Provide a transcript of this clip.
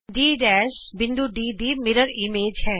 D ਬਿੰਦੂ D ਦੀ ਸ਼ੀਸ਼ੇ ਵਿਚਲੀ ਇਮੇਜ ਹੇ